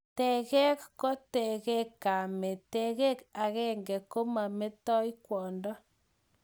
tengek ko tengek kamet, tengek agenge komametoi kwondo